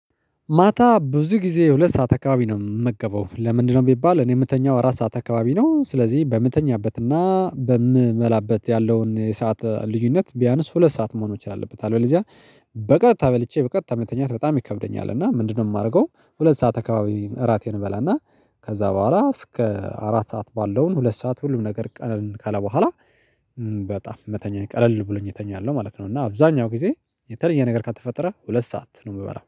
ማታ ብዙ ጊዜ ሁለት ሰዓት አካባቢ ነው የምገባው ለምንድነው ቢባል እኔ የምተኛው አራት ሰዓት አካባቢ ነው። ስለዚህ በምተኛበትና በምበላበት ያለውን የሰዓት ልዩነት ቢያንስ ሁለት ሰዓት መሆኖች አለበት። አለዚያ በቀታ በልቼ በቀታ መተኛት በጣም ይከብደኛል እና ምንድነው የማደርገው? ሁለት ሰዓት አካባቢ እራቴን እበላና ከዛ በኋላ እስከ አራት ሰዓት ባለውን ሁለት ሰዓት ሁሉም ነገር ቀለል ካለ በኋላ በጣም መተኛኝ ቀለል ብሎኝ የተኛለው ማለት ነው። እና አብዛኛው ጊዜ የተለየ ነገር ካልተፈጠረ ሁለት ሰዓት ነው የምበላው